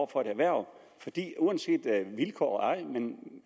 for et erhverv vilkår eller ej men